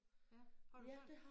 Ja har du sådan